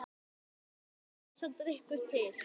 Þannig varð sá drykkur til.